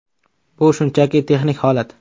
Bu shunchaki texnik holat.